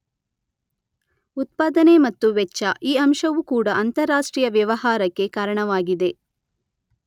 ಉತ್ಪಾದನೆ ಮತ್ತು ವೆಚ್ಚ, ಈ ಅಂಶವೂ ಕೂಡ ಅಂತಾರಾಷ್ಟ್ರೀಯ ವ್ಯವಹಾರಕ್ಕೆ ಕಾರಣವಾಗಿದೆ.